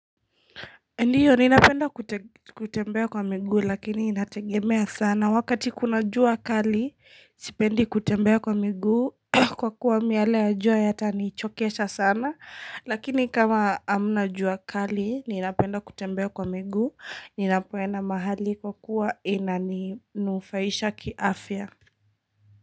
Ndiyo ninapenda kutembea kwa miguu lakini inategemea sana. Wakati kuna jua kali sipendi kutembea kwa miguu, kwa kuwa miale ya jua yatanichokesha sana Lakini kama hamna jua kali ninapenda kutembea kwa miguu ninapoenda mahali kwa kuwa inanufaisha kiafya.